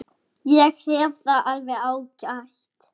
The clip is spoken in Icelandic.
Ég hef það alveg ágætt.